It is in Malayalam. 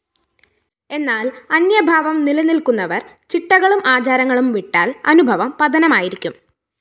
എന്നാല്‍ അന്യഭാവം നിലനില്‍ക്കുന്നവര്‍ ചിട്ടകളും ആചാരങ്ങളും വിട്ടാല്‍ അനുഭവം പതനമായിരിക്കും